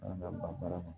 ban baara kɔnɔ